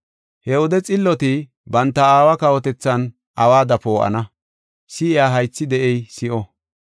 He wode xilloti banta Aawa kawotethan awada poo7ana. Si7iya haythi de7ey si7o!